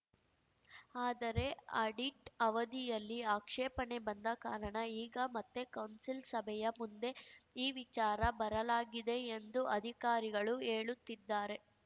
ಆದರೆ ಅಡಿಟ್‌ ವರದಿಯಲ್ಲಿ ಆಕ್ಷೇಪಣೆ ಬಂದ ಕಾರಣ ಈಗ ಮತ್ತೆ ಕೌನ್ಸಿಲ್‌ ಸಭೆಯ ಮುಂದೆ ಈ ವಿಚಾರ ಬರಲಾಗಿದೆ ಎಂದು ಅಧಿಕಾರಿಗಳು ಹೇಳುತ್ತಿದ್ದಾರೆ